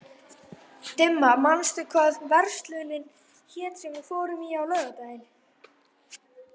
Dimma, manstu hvað verslunin hét sem við fórum í á laugardaginn?